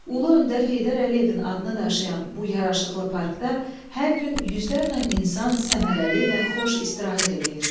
Ulu öndər Heydər Əliyevin adını daşıyan bu yaraşıqlı parkda hər gün yüzlərlə insan səmərəli və xoş istirahət eləyir.